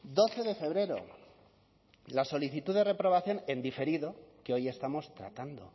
doce de febrero la solicitud de reprobación en diferido que hoy estamos tratando